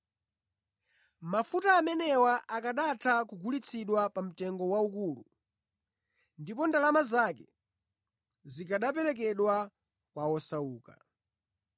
Mafuta amenewa akanatha kugulitsidwa pa mtengo waukulu, ndipo ndalama zake zikanaperekedwa kwa osauka.”